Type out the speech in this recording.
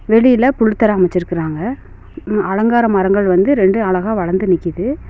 வெளியில புல் தர அமச்சிருக்குறாங்க அலங்கார மரங்கள் வந்து ரெண்டு அழகா வளந்து நிக்கிது.